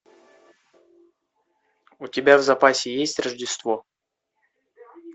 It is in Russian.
у тебя в запасе есть рождество